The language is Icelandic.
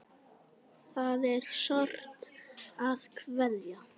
Það er sárt að kveðja.